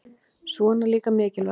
Svona líka mikilvægt